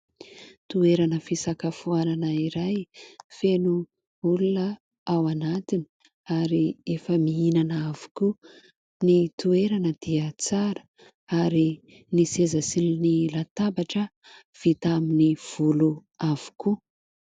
Toerana fisakafoanana iray, feno olona ao anatiny ary efa mihinana avokoa. Ny toerana dia tsara ary ny seza sy ny latabatra vita amin'n volo avokoa.